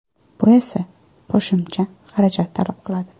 Bu esa qo‘shimcha xarajat talab qiladi.